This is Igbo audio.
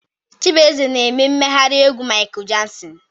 Chibueze na-eme mmegharị egwu Michael Jackson